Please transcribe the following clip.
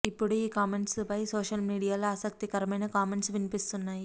ఇప్పుడు ఈ కామెంట్స్ పై సోషల్ మీడియాలో ఆసక్తికరమైన కామెంట్స్ వినిపిస్తున్నాయి